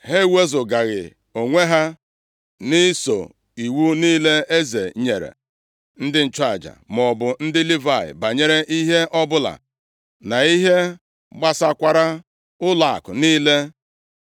Ha ewezugaghị onwe ha nʼiso iwu niile eze nyere ndị nchụaja maọbụ ndị Livayị banyere ihe ọbụla na ihe gbasakwara ụlọakụ niile.